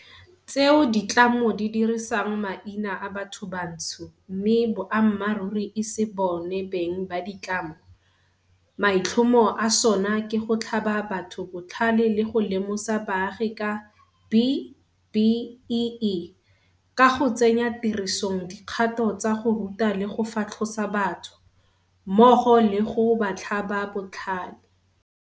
tseo ditlamo di dirisang maina a bathobantsho mme boammaruri e se bona beng ba ditlamo, maitlhomo a sona ke go tlhaba batho botlhale le go lemosa baagi ka B-BBEE, ka go tsenya tirisong dikgato tsa go ruta le go fatlhosa batho, mmogo le go ba tlhaba botlhale.